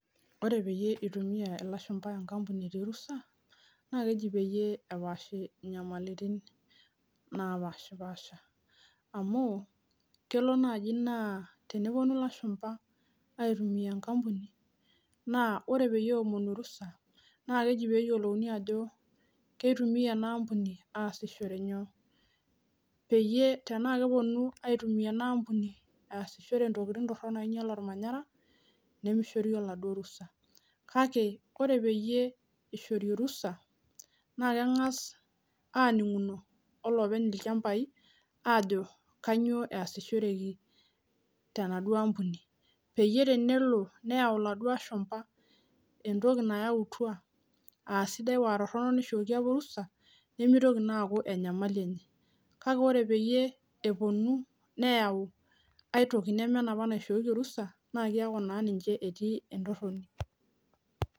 Ore peyie eitumiya ilashumba enkampuni etii orusa, naa keji peyie eji epaashi inyamaliritin napashapasha, amu, kelo naaji naa tenewuonu ilashumba aitumia enkampuni naa ore peyie eomonu orusa, naa keji peyiolouni ajo kamaa teitumiya ena kampuni aasishore nyoo. Tanaa ekepuonu aitumia ena kampuni aasishore intokitin torok oinyal olmanyara, nemeishori oladuo rusa. Kake ore peyie eishoori orusa, engas aning'uno o loopeny ilchambai ajo kainyoo easishoreki tenaduo kampuni. Peyie tenelo neyau laduo ashumba entoki nayautua aa sidai aa torono neishooki opa orusa, nemeitoki naa aaku enyamali enye. Kake ore peyie epuonu neyau ai toki neme enoopa naishooki orusa naa keaku naa ninche etii entoroni.